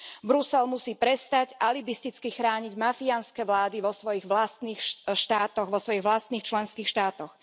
Brusel musí prestať alibisticky chrániť mafiánske vlády vo svojich vlastných štátoch, vo svojich vlastných členských štátoch.